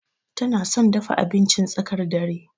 Tana son dafa abincin tsakar dare.